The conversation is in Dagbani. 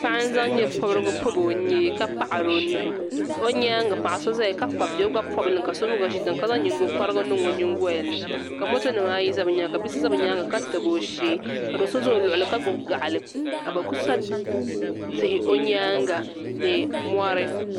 paɣa n-zaŋ nyɛpɔbirigu pɔbi o nyee ka paɣiri o nuhi o nyaaŋa paɣ' so zaya ka kpabi bia o gba pɔbi li mi ka so mi gba ʒi tiŋa ka zaŋ nyiŋgokɔrigu niŋ o nyiŋgoli ni ka motonima ayi za bɛ nyaaŋa ka bi' so za bɛ nyaaŋa ka tabi o shee ka do' za o luɣili ka gbubi gaɣili ka bɛ kuli sa tihi o nyaaŋa ni mɔri